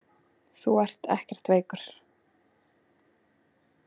Þú ert ekkert veikur.